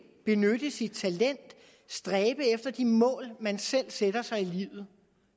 benytte sit talent stræbe efter de mål man selv sætter sig i livet